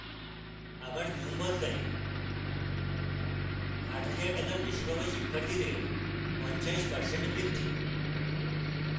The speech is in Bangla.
আবার নিয়ম বদলাই 8000 টাকার বেশি পাওয়া শিক্ষার্থীদের 50% বৃদ্ধি!